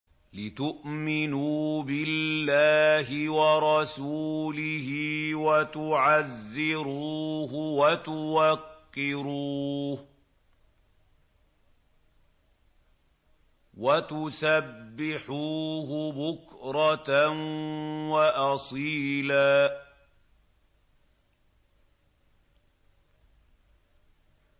لِّتُؤْمِنُوا بِاللَّهِ وَرَسُولِهِ وَتُعَزِّرُوهُ وَتُوَقِّرُوهُ وَتُسَبِّحُوهُ بُكْرَةً وَأَصِيلًا